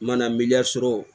Mana miliya sɔrɔ